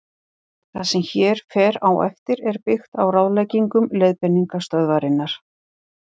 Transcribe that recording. Það sem hér fer á eftir er byggt á ráðleggingum Leiðbeiningastöðvarinnar.